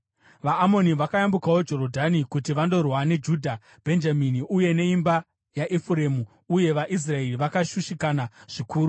VaAmoni vakayambukawo Jorodhani kuti vandorwa neJudha, Bhenjamini uye neimba yaEfuremu; uye vaIsraeri vakashushikana zvikuru.